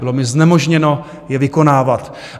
Bylo mi znemožněno je vykonávat.